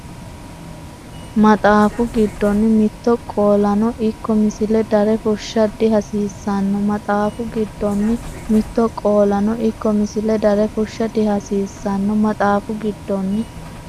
Maxaafu giddonni mitto qoolano ikko misile dare fushsha dihasiissan- Maxaafu giddonni mitto qoolano ikko misile dare fushsha dihasiissan- Maxaafu giddonni.